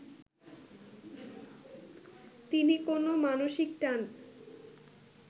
তিনি কোন মানসিক টান